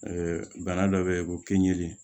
bana dɔ bɛ yen ko kinni